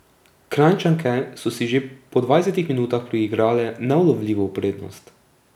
Kranjčanke so si že po dvajsetih minutah priigrale neulovljivo prednost.